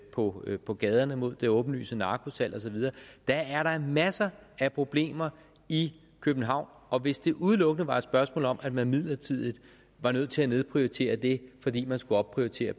på på gaderne mod det åbenlyse narkosalg og så videre der er da masser af problemer i københavn og hvis det udelukkende var et spørgsmål om at man midlertidigt var nødt til at nedprioritere det fordi man skulle opprioritere